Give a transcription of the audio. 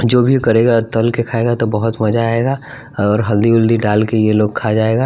जो भी करेगा तल के खाएगा तो बहुत मजा आएगा और हल्दी वलदी डाल के ये लोग खा जाएगा।